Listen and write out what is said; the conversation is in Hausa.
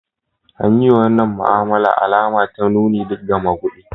An yi wa wannan ma'amala alama ta nuni ga maguɗi.